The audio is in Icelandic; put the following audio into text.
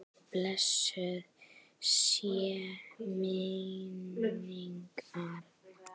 Blessuð sé minning Arnar.